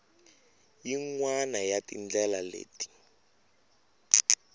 yin wana ya tindlela leti